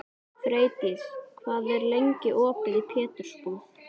Freydís, hvað er lengi opið í Pétursbúð?